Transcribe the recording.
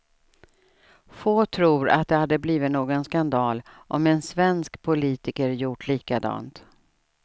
Få tror att det hade blivit någon skandal om en svensk politiker gjort likadant.